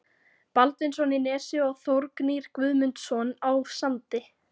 Baldvinsson í Nesi og Þórgnýr Guðmundsson á Sandi.